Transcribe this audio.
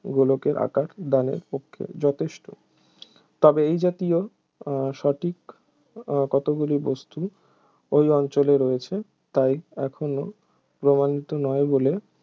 গোলকের আকার দানের পক্ষে যথেষ্ট তবে এই জাতীয় উহ সঠিক কতগুলি বস্তু ওই অঞ্চলে রয়েছে তাই এখনও প্রমাণিত নয় বলে